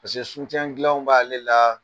paseke dilanw b'a le la